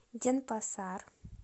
денпасар